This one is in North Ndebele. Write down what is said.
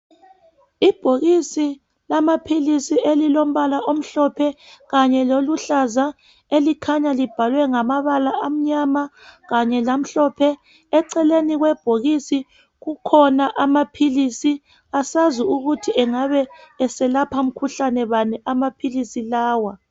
Ibhokisi lamaphilisi elilombala omhlophe kanye loluhlaza elikhanya libhalwe ngamabala amnyama kanye lamhlophe eceleni kwebhokisi kukhona amaphilisi asazi ukuthi engabe eselapha mkhuhlane bani amaphilisi lawa